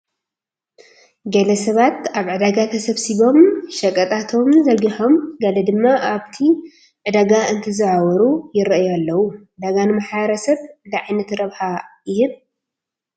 ገለ ሰባት ኣብ ዕዳጋ ተሰባሲቦም ሸቐጣቶም ዘርጊሖም ገለ ድማ ኣብቲ ዕዳጋ እንትዘዋወሩ ይርኣዩ ኣለዉ፡፡ ዕዳጋ ንማሕረሰብ እንታይ ዓይነት ረብሓ ይህብ?